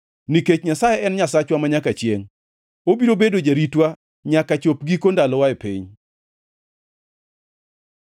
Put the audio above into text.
Nikech Nyasaye en Nyasachwa manyaka chiengʼ obiro bedo jaritwa nyaka chop giko ndalowa e piny.